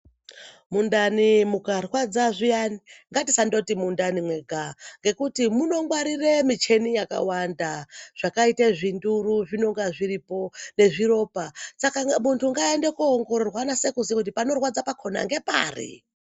Mundani mikarwadza zviyani ngatisangoti mundani mega nekuti munongwarire micheni yakawanda zvakaite zvinduru zvinonga zviripo nezviropa saka muntu ngaaende kunoongororwa azive kuti panorwadza ngepari.